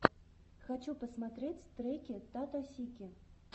хочу посмотреть треки таттосики